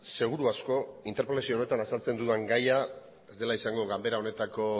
seguru asko interpelazio honetan azaltzen dudan gaia ez dela izango ganbara honetako